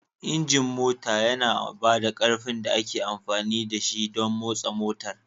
Injin mota yana ba da ƙarfin da ake amfani da shi don motsa motar